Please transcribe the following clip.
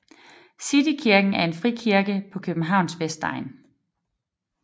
City Kirken er en frikirke på Københavns vestegn